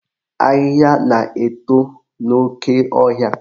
Ahịhịa na-eto n'oke ọhịa